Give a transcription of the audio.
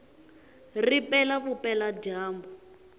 ri pela vupela dyambu